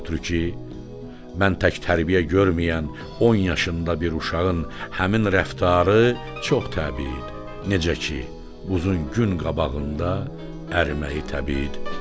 Ondan ötrü ki, mən tək tərbiyə görməyən 10 yaşında bir uşağın həmin rəftarı çox təbii idi, necə ki, buzun gün qabağında əriməyi təbii idi.